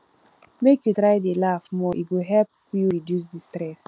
make you dey try laugh more e go help you reduce di stress